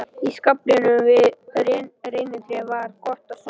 Í skaflinum við reynitréð væri gott að sofa.